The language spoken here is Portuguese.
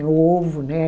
O ovo, né?